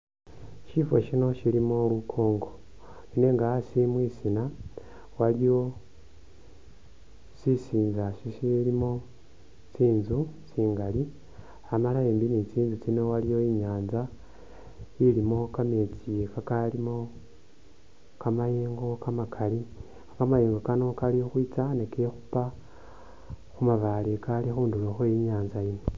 Shifa shino shilimo lunkongo nenga asi mwisiina waliwo sisinza sisiliimo tsinzu tsingaali amala embi ni tsinzu tsino aliwo inyanza iliimo kameetsi kakalimo kamayengo kamakaali kamayengo Kano kali ukhwitsa ni kekhupa khumabaale akaali khundulo khwe inyanza yiino